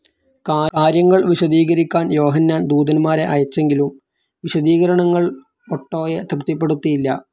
കാര്യങ്ങൾ വിശദീകരിക്കാൻ യോഹന്നാൻ ദൂതൻമാരെ അയച്ചെങ്കിലും വിശദീകരണങ്ങൾ ഒട്ടോയെ തൃപ്തിപ്പെടുത്തിയില്ല.